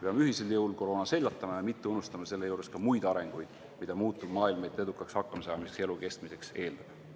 Peame ühisel jõul koroona seljatama ja mitte unustama selle juures ka muid arenguid, mida muutuv maailm meilt edukaks hakkamasaamiseks ja elu kestmiseks eeldab.